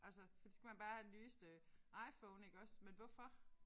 Altså fordi så skal man bare have nyeste IPhone iggås men hvorfor